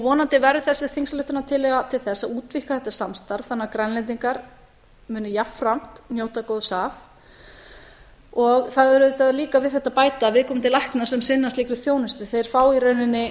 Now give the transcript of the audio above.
vonandi verður þessi þingsályktunartillaga til þess að útvíkka þetta samstarf þannig að grænlendingar muni jafnframt njóta góðs af og því er auðvitað líka við þetta að bæta að viðkomandi læknar sem sinna slíkri þjónustu fá í rauninni